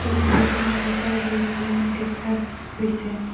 এই ছবিখনত এটা ৰেল লাইন দেখা গৈছে।